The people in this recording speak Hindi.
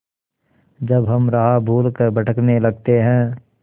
जब हम राह भूल कर भटकने लगते हैं